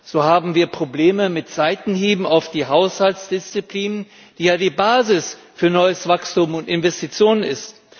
So haben wir Probleme mit Seitenhieben auf die Haushaltsdisziplin, die ja die Basis für neues Wachstum und Investitionen ist.